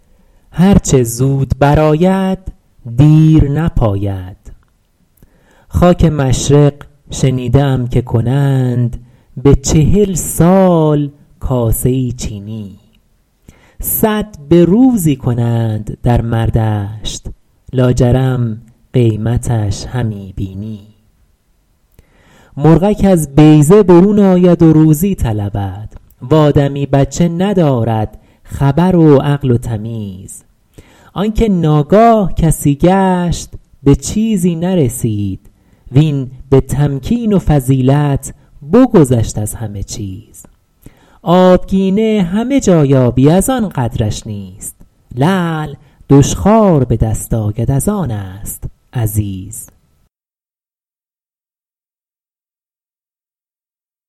هر چه زود بر آید دیر نپاید خاک مشرق شنیده ام که کنند به چهل سال کاسه ای چینی صد به روزی کنند در مردشت لاجرم قیمتش همی بینی مرغک از بیضه برون آید و روزی طلبد و آدمی بچه ندارد خبر و عقل و تمیز آن که ناگاه کسی گشت به چیزی نرسید وین به تمکین و فضیلت بگذشت از همه چیز آبگینه همه جا یابی از آن قدرش نیست لعل دشخوار به دست آید از آن است عزیز